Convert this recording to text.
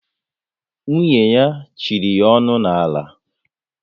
Nwunye ya chịrị ya onu n'ala